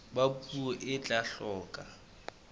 ba puo e tla hloka